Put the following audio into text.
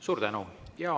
Suur tänu!